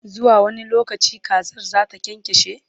zuwa wani lokaci kazar zata kyankyashe?